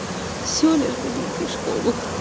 все лишь бы не идти в школу